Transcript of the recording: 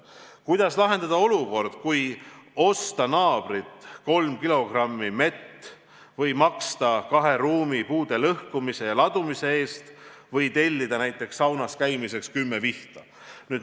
Kuidas lahendada olukord, kui osta naabrilt kolm kilogrammi mett või maksta kahe ruumi puude lõhkumise ja ladumise eest või tellida näiteks saunas käimiseks kümme vihta?